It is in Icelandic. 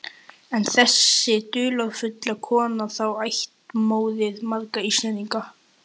En er þessi dularfulla kona þá ættmóðir margra Íslendinga?